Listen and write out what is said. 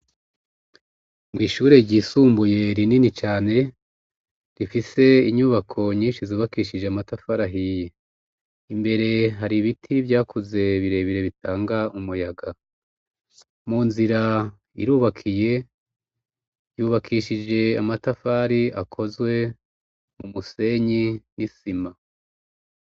Mwishure ryisumbuye Rinini cane rifise inyubako yubakishijwe amatafari ahiye mbere hari ibiti vyakuze birebire bitanga umuyaga munzira irubakiye yubakishijwe mu matafari akozwe mumu senyi nisima.